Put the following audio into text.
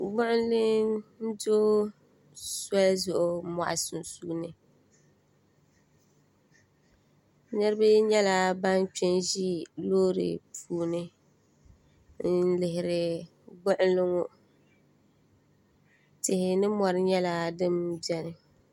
gbuɣinli n-do soli zuɣu mɔɣu sunsuuni niriba nyɛla ban kpe n-ʒi loori puuni n-lihiri gbuɣinli ŋɔ tihi ni mɔri nyɛla din beni